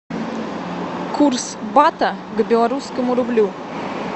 курс бата к белорусскому рублю